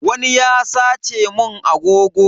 Wani ya sace mun agogo.